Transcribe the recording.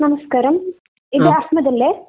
നമസ്കാരം. ഇത് ആത്മജ്‌ അല്ലേ?